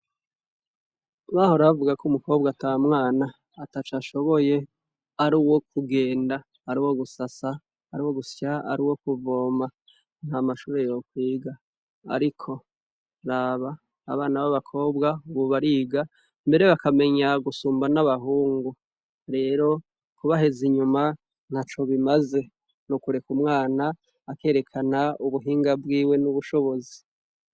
Bahorabavuga ko umukobwa ata mwana ata cashoboye ari wo kugenda ari wo gusasa ari wo gusya ari wo kuvoma nta mashuri yokwiga, ariko raba abana b'abakobwa ngubariga mbere bakamenya gusumba n'abahungu rero kubaheza inyuma nka co bimaze n' ukureka umwana akerekana ubuhinga bwiwe n'ubushobozi.